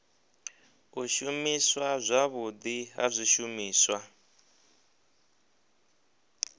u shumiswa zwavhudi ha zwishumiswa